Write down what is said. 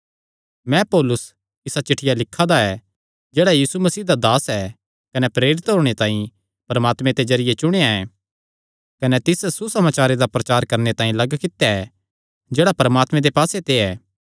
मैं पौलुस इसा चिठ्ठिया लिखा दा ऐ जेह्ड़ा यीशु मसीह दा दास ऐ कने प्रेरित होणे तांई परमात्मे दे जरिये चुणेया ऐ कने तिस सुसमाचारे दा प्रचार करणे तांई लग्ग कित्या ऐ जेह्ड़ा परमात्मे दे पास्से ते ऐ